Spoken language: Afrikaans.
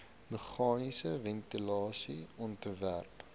meganiese ventilasie ontwerp